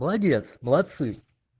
молодец молодцы